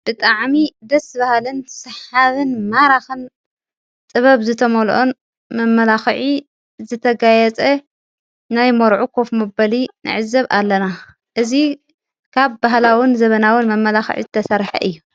ብጥዓሚ ደስ በሃልን ስሓብን ማራኽን ጥበብ ዝተመልኦን መመላኽዒ ዘተጋየጸ ናይ መርዑ ኩፍ ምበሊ ነዕዘብ ኣለና እዙ ካብ ብህላዉን ዘበናውን መመላኽዕ ዝተሠርሐ እዩ፡፡